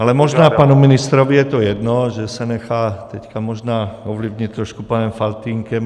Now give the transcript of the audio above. Ale možná panu ministrovi je to jedno, že se nechá teď možná ovlivnit trošku panem Faltýnkem.